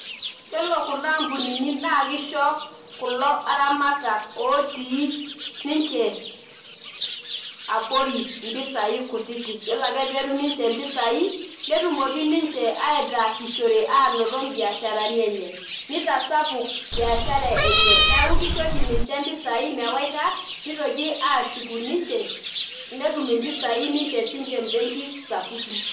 Yiolo kuna ampunini naa kisho iltunganak otii ninche abori impisai kutiti yiolo ake petum ninche mpisai netumoki ninche ataasishore anoto mbiasharani enye , nitasapuk imbiasharani enye ,niaku kisho oshi impisai mewaita nitoki ashuku netum impisai sinche imbenki sapuin .